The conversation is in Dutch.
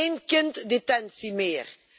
Geen kinddetentie meer.